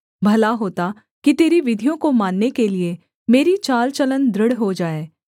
भला होता कि तेरी विधियों को मानने के लिये मेरी चाल चलन दृढ़ हो जाए